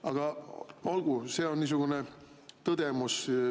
Aga olgu, see on niisugune tõdemus.